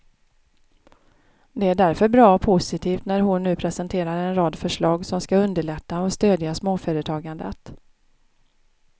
Det är därför bra och positivt när hon nu presenterar en rad förslag som skall underlätta och stödja småföretagandet.